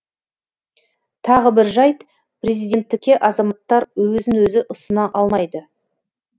тағы бір жайт президенттікке азаматтар өзін өзі ұсына алмайды